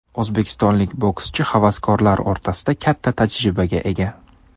O‘zbekistonlik bokschi havaskorlar o‘rtasida katta tajribaga ega.